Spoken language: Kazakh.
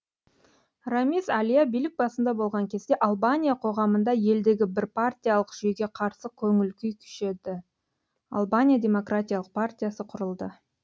рамиз әлия билік басында болған кезде албания қоғамында елдегі бірпартиялық жүйеге қарсы көңіл күй күшейді албания демократиялық партиясы құрылды